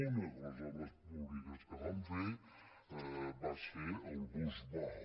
una de les obres públiques que van fer va ser el bus vao